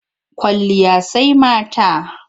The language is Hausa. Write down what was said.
Kwalliya sai mata.